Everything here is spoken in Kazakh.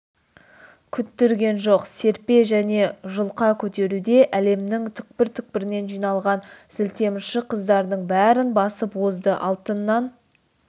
күттірген жоқ серпе және жұлқа көтеруде әлемнің түкпір-түкпірінен жиылған зілтемірші қыздардың бәрін басып озды алтыннан